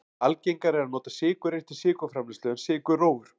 algengara er að nota sykurreyr til sykurframleiðslu en sykurrófur